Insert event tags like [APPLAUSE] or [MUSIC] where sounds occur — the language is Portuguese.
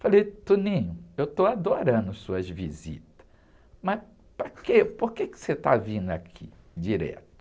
Falei, [UNINTELLIGIBLE] eu estou adorando suas visitas, mas para quê, por que que você está vindo aqui direto?